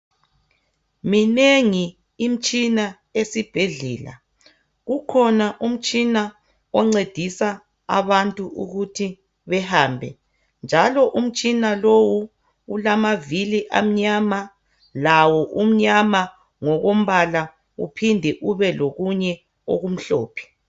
Minengi imtshina esibhedlela. Kukhona umtshina oncedisa abantu ukuthi behambe njalo umtshina lowu ulamavili amnyama lawo umnyama ngokombala uphinde ube lokunye okumhlophe.